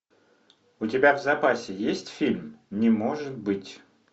у тебя в запасе есть фильм не может быть